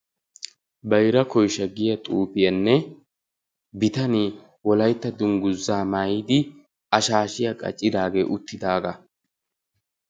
Bayra koysha giya xuufiyanne bitanee wolaytta dungguzaa maayidi a shaashiya qacidaagee uttidaagaa.